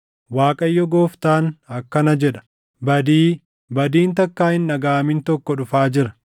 “ Waaqayyo Gooftaan akkana jedha: “ ‘Badii! Badiin takkaa hin dhagaʼamin tokko dhufaa jira.